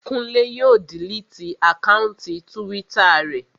Kúnlé yóò diliti àkáùntì túwítà rẹ̀